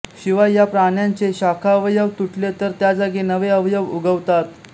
शिवाय या प्राण्यांचे शाखावयव तुटले तर त्या जागी नवे अवयव उगवतात